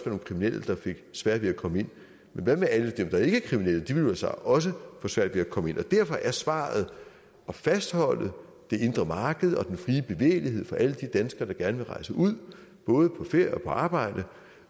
nogle kriminelle der fik sværere ved at komme ind men hvad med alle dem der ikke er kriminelle de vil vel så også få svært ved at komme ind derfor er svaret at fastholde det indre marked og den frie bevægelighed for alle de danskere der gerne vil rejse ud både på ferier og på arbejde